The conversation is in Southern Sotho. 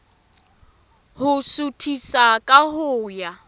ho suthisa ka ho ya